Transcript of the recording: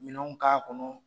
Minɛw k'a kɔnɔ.